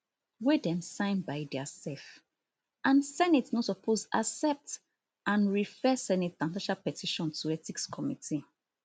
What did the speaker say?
wey dem sign by diasef and senate no suppose accept and refer senator natasha petition to ethics committee